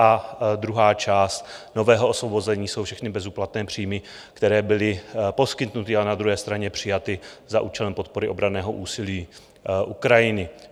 A druhá část nového osvobození jsou všechny bezúplatné příjmy, které byly poskytnuty a na druhé straně přijaty za účelem podpory obranného úsilí Ukrajiny.